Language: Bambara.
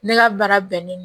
Ne ka baara bɛnnen don